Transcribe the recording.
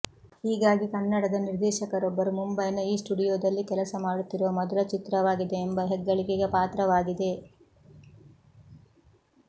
ಹೀಗಾಗಿ ಕನ್ನಡದ ನಿರ್ದೇಶಕರೊಬ್ಬರು ಮುಂಬೈನ ಈ ಸ್ಟುಡಿಯೋದಲ್ಲಿ ಕೆಲಸ ಮಾಡುತ್ತಿರುವ ಮೊದಲ ಚಿತ್ರವಾಗಿದೆ ಎಂಬ ಹೆಗ್ಗಳಿಕೆಗೆ ಪಾತ್ರವಾಗಿದೆ